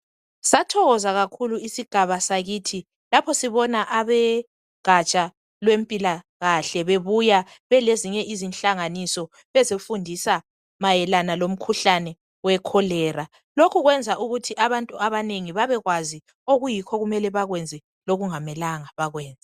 Sathokoza kakhulu isigaba sakithi lapho sibona abogaja lwezempilakahle bebuya belezinye izinhlanganiso bezofundisa mayelana lomkhuhlane we cholera. Lokhu kwenza ukuthi abantu abanengi babekwazi okuyikho okumele bakwenza lokuyikho okungamela bekwenze.